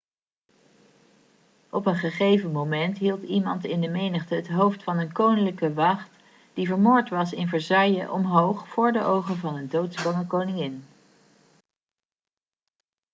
op een gegeven moment hield iemand in de menigte het hoofd van een koninklijke wacht die vermoord was in versailles omhoog voor de ogen van een doodsbange koningin